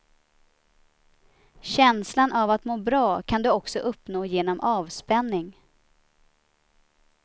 Känslan av att må bra kan du också uppnå genom avspänning.